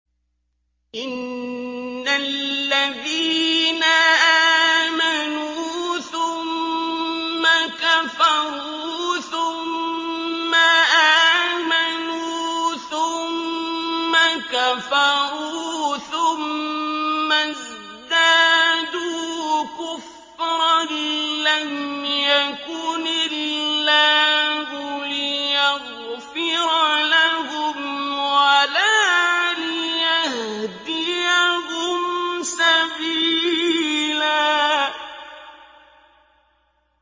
إِنَّ الَّذِينَ آمَنُوا ثُمَّ كَفَرُوا ثُمَّ آمَنُوا ثُمَّ كَفَرُوا ثُمَّ ازْدَادُوا كُفْرًا لَّمْ يَكُنِ اللَّهُ لِيَغْفِرَ لَهُمْ وَلَا لِيَهْدِيَهُمْ سَبِيلًا